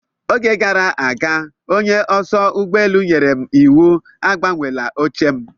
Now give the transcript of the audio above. Oge gara aga onye oso ụgbọelu nyèrè m iwu agbanweela oche m.